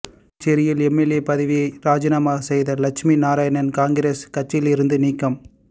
புதுச்சேரியில் எம்எல்ஏ பதவியை ராஜினாமா செய்த லட்சுமி நாராயணன் காங்கிரஸ் கட்சியிலிருந்து நீக்கம்